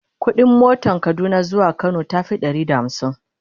ƙuɗin motan Kaduna zuwa Kano tafi Ɗari da hamsin